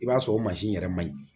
I b'a sɔrɔ o mansin yɛrɛ ma yi